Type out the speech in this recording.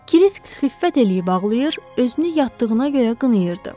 Krisk xiffət eləyib ağlayır, özünü yatdığına görə qınayırdı.